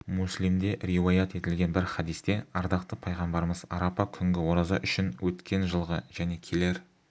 муслимде риуаят етілген бір хадисте ардақты пайғамбарымыз арапа күнгі ораза үшін өткен жылғы және келер